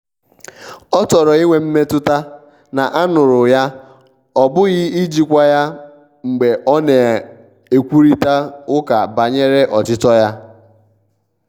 ọ chọrọ inwe mmetụta na a nụ̀rụ yaọ bụghi ijikwa ya mgbe ọ na-ekwurịta ụka banyere ọchichọ ya.